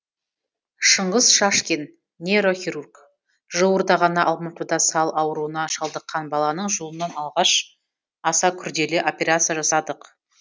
шыңғыс шашкин нейрохирург жуырда ғана алматыда сал ауруына шалдыққан баланың жұлынын алғаш аса күрделі операция жасадық